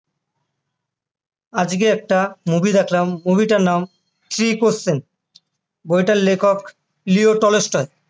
আজকে একটা movie দেখলাম movie টার নাম three questions বইটার লেখক লিও টলস্টয়